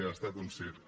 ha estat un circ